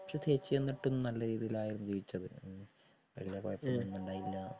പക്ഷെ ചേച്ചി എന്നിട്ടും നല്ല രീതിയിലായിരുന്നു ജീവിച്ചത്.വല്യ കൊയപ്പൊന്നും ഉണ്ടയില്ലാ